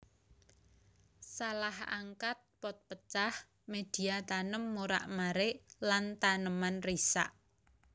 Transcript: Salah angkat pot pecah médhia tanem morak marik lan taneman risak